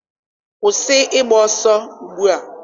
kwụsị ịgba ọsọ ugbu a!